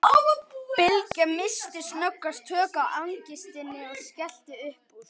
Bylgja missti snöggvast tök á angistinni og skellti upp úr.